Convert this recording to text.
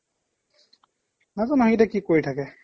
নাজানো সেইকেইটা কি কৰি থাকে